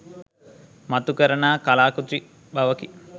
මතු කරනා කලා කෘති බවකි.